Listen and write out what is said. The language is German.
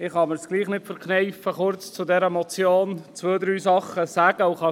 Ich kann es mir gleichwohl nicht verkneifen, kurz zu dieser Motion zwei, drei Dinge zu sagen.